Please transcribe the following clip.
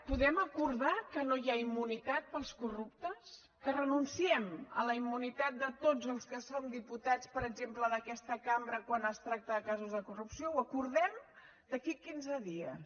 podem acordar que no hi ha immunitat per als corruptes que renunciem a la immunitat de tots els que som diputats per exemple d’aquesta cambra quan es tracta de casos de corrupció ho acordem d’aquí a quinze dies